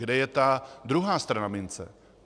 Kde je ta druhá strana mince?